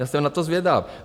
Já jsem na to zvědav.